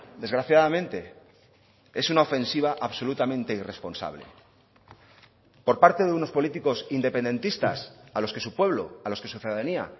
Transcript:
desgraciadamente es una ofensiva absolutamente irresponsable por parte de unos políticos independentistas a los que su pueblo a los que su ciudadanía